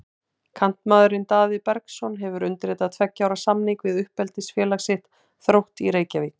Kantmaðurinn Daði Bergsson hefur undirritað tveggja ára samning við uppeldisfélag sitt, Þrótt í Reykjavík.